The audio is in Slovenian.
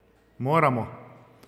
Moramo!